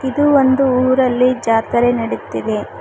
ಇದು ಒಂದು ಊರಲ್ಲಿ ಜಾತ್ರೆ ನಡಿತಿದೆ.